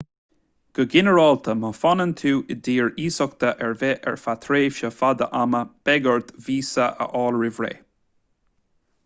go ginearálta má fhanann tú in dtír iasachta ar bith ar feadh tréimhse fada ama beidh ort víosa a fháil roimh ré